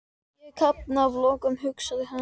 Ég kafna að lokum, hugsaði hann.